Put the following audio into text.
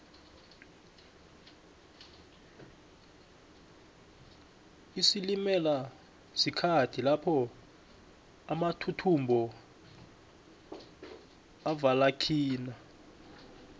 isilimela sikhathi lapho amathuthumbo avelakhina